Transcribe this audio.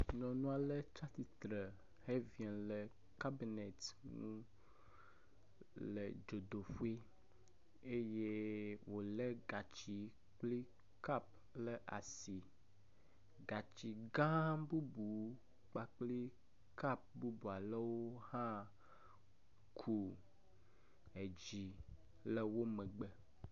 Nyɔnu ale tsatsitre heziɔ le cabinet ŋu le dzodoƒe eye wòlé gatsi kple kap le asi. Gatsi gã bubu kpakpli kap bubu alewo hã ku edzi le wo megbe.